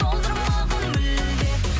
солдырмағын мүлде